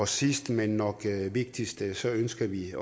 sidst men nok vigtigst ønsker ønsker vi